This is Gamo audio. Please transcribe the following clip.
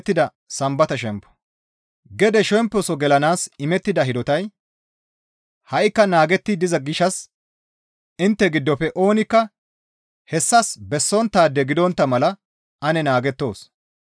Gede shemposo gelanaas imettida hidotay ha7ikka naagetti diza gishshas intte giddofe oonikka hessas bessonttaade gidontta mala ane naagettoos.